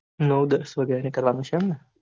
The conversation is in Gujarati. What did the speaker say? નવ દસ વાગે નીકળવાનું છે અમને.